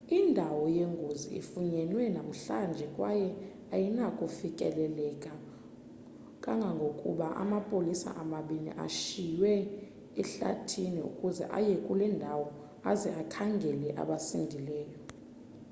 indawo yengozi ifunyenwe namhlanje kwaye ayinakufikeleleka kangangokuba amapolisa amabini ashiywe ehlathini ukuze aye kule ndawo aze akhangele abasindileyo